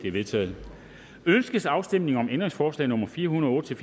er vedtaget ønskes afstemning om ændringsforslag nummer fire hundrede og otte til